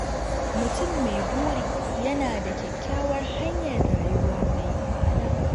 Mutum mai buri yana da kyakkyawar hanyar rayuwa mai ma’ana.